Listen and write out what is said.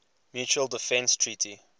mutual defense treaty